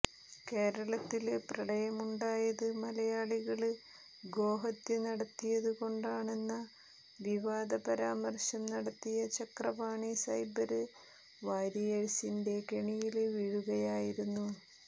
കേരളത്തില് പ്രളയമുണ്ടായത് മലയാളികള് ഗോഹത്യ നടത്തിയതു കൊണ്ടാണെന്ന വിവാദ പരാമര്ശം നടത്തിയ ചക്രപാണി സൈബര് വാരിയേഴ്സിന്റെ കെണിയില് വീഴുകയായിരുന്നു